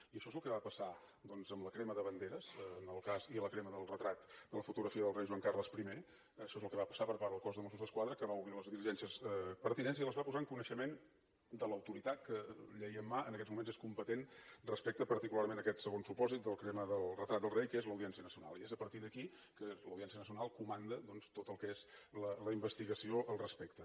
i això és el que va passar doncs amb la crema de banderes i la crema del retrat de la fotografia del rei joan carles i això és el que va passar per part del cos dels mossos d’esquadra que va obrir les diligències pertinents i les va posar en coneixement de l’autoritat que llei en mà en aquests moments és competent respecte particularment a aquest segon supòsit de la crema del retrat del rei que és l’audiència nacional i és a partir d’aquí que l’audiència nacional comanda doncs tot el que és la investigació al respecte